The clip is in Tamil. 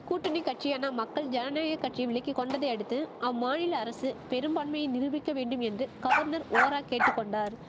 கூட்டணி கட்சியான மக்கள் ஜனநாயக கட்சி விலக்கி கொண்டதையடுத்து அம்மாநில அரசு பெரும்பான்மையை நிருபிக்க வேண்டும் என்று கவர்னர் ஓரா கேட்டு கொண்டார்